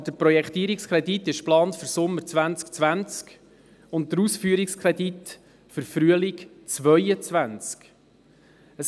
Aber der Projektierungskredit ist für Sommer 2020 geplant und der Ausführungskredit für Frühjahr 2022.